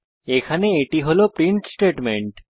এখানে এটি হল প্রিন্ট স্টেটমেন্ট